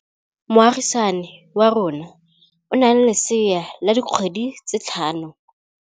Moagisane wa rona o na le lesea la dikgwedi tse tlhano.